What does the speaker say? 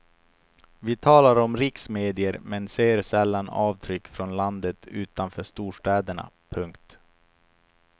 Vi talar om riksmedier men ser sällan avtryck från landet utanför storstäderna. punkt